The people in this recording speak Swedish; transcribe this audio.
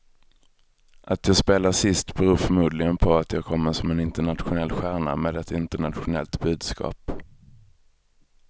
Att jag spelar sist beror förmodligen på att jag kommer som en internationell stjärna med ett internationellt budskap.